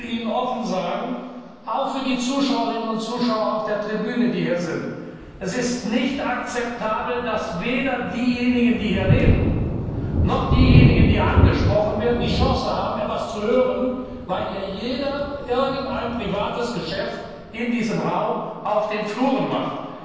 Und ich will Ihnen offen sagen, auch für die Zuschauerinnen und Zuschauer auf der Tribüne Es ist nicht akzeptabel, dass weder diejenigen, die hier reden, noch diejenigen, die angesprochen werden, die Chance haben, etwas zu hören, weil hier jeder irgendein privates Geschäft auf den Fluren in diesem Raum macht.